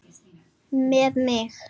Með mig?